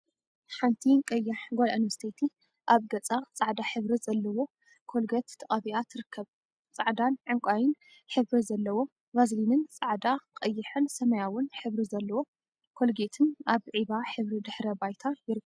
ሓንቲ ቀያሕ ጋል ኣንስተይቲ ኣብ ገጻ ጻዕዳ ሕብሪ ዘለዎ ኮልገት ተቀቢኣ ትርከብ። ጻዕዳን ዕንቃይን ሕብሪ ዘለዎ ቫዥሊንን ጻዕዳ፣ ቀይሕ ን ሰማያዊን ሕብሪ ዘለዎ ኮልጌትን ኣብ ዒባ ሕብሪ ድሕረ ባይታ ይርከቡ።